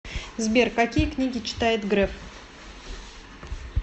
сбер какие книги читает греф